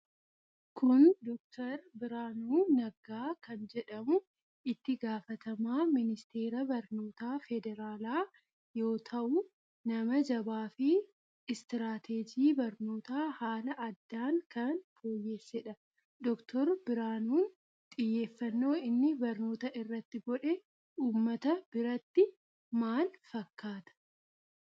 Kun Dr. Birhaanuu Naggaa kan jedhamu itti gaafatama ministeera barnoota federaala yoo tahuu nama jabaa fi istirateejii barnoota haala addaan kan foyyeessedha. Dr. Birhaanuun xiyyeeffanno inni barnoota irratti godhe ummata biratti maal fakkaata?